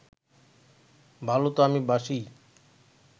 ভালো তো আমি বাসিই